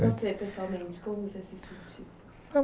E você, pessoalmente, como você se sentiu?